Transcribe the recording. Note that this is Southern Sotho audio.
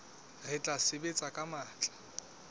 re tla sebetsa ka matla